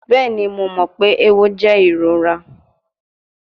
Bẹẹni, Mo mọ pe ewo jẹ irora